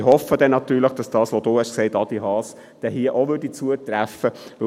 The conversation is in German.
Ich hoffe natürlich, dass das, was du gesagt hast, Adi Haas, hier auch zutreffen wird.